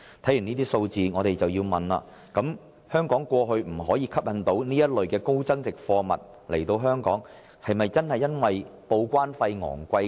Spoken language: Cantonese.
看完這些數字，我們不禁要問：香港過去之所以未能吸引這類高增值貨物進口，是否真的因為報關費昂貴？